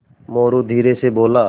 मोरू धीरे से बोला